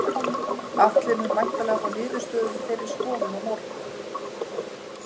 Atli mun væntanlega fá niðurstöður úr þeirri skoðun á morgun.